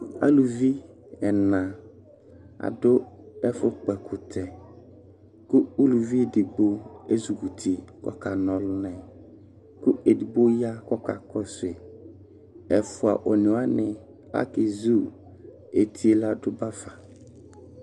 Aluvi ɛna adʋ ɛfʋ kpɔ ɛkʋtɛ kʋ uluvi edigbo ezik'uti k'ɔka na ɔlʋna yɛ, kʋ edigbo ya k'ɔka kɔsʋ yi Ɛfua onewani akezu eti yɛ ladʋ bafa